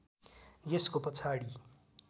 यसको पछाडि